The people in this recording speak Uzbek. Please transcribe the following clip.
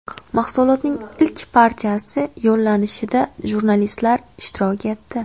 Mahsulotning ilk partiyasi yo‘llanishida jurnalistlar ishtirok etdi.